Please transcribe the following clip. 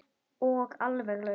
Og alveg laus.